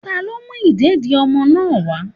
talo mú ìdédi ọmọ náà wa.